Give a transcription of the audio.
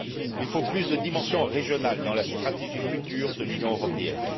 Il faut plus de dimension régionale dans la stratégie future de l'Union européenne.